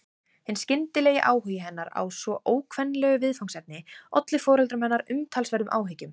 Hinn skyndilegi áhugi hennar á svo ókvenlegu viðfangsefni olli foreldrum hennar umtalsverðum áhyggjum.